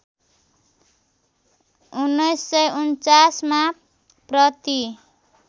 १९४९ मा प्रति